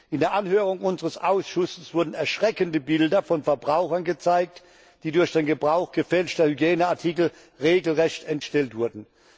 In der Anhörung unseres Ausschusses wurden erschreckende Bilder von Verbrauchern gezeigt, die durch den Gebrauch gefälschter Hygieneartikel regelrecht entstellt wurden.